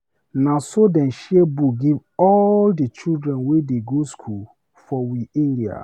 Na so dem share book give all di children wey dey go skool for we area.